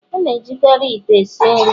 A na-ejikarị ite esi nri